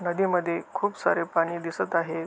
नदीमध्ये खूप सारे पाणी दिसत आहे.